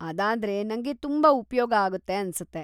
ಅದಾದ್ರೆ ನಂಗೆ ತುಂಬಾ ಉಪ್ಯೋಗ ಆಗುತ್ತೆ‌ ಅನ್ಸತ್ತೆ.